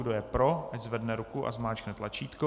Kdo je pro, ať zvedne ruku a zmáčkne tlačítko.